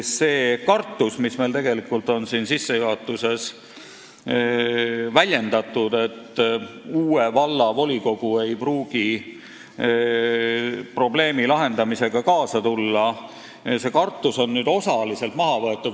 See kartus, mida meil on arupärimise sissejuhatuses väljendatud, et uue valla volikogu ei pruugi probleemi lahendamisega kaasa tulla, on nüüd osaliselt maha võetud.